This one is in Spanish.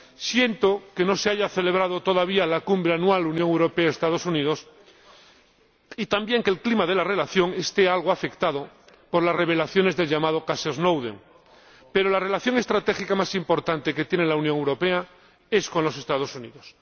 Siento que no se haya celebrado todavía la Cumbre anual Unión Europea Estados Unidos y también que el clima de la relación esté algo afectado por las revelaciones del llamado caso Snowden, pero la relación estratégica más importante que tiene la Unión Europea es con los Estados Unidos.